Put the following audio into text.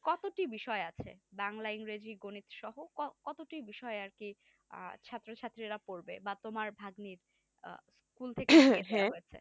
কতটি বিষয় আছে বাংলা ইংরেজি গণিত সহ কত কতটি বিষয়ে আর কি ছাত্র-ছাত্রীরা পড়বে বা তোমার ভাগ্নির